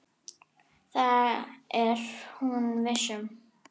Það er hún viss um.